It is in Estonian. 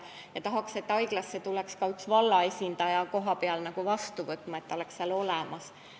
Me tahaksime, et haiglasse tuleks ka üks vallaesindaja kohapeale vastu võtma ja ta oleks seal olemas.